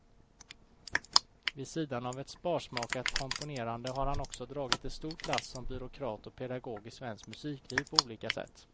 Vid sidan av ett sparsmakat komponerande har han också dragit ett stort lass som byråkrat och pedagog i svenskt musikliv på olika sätt.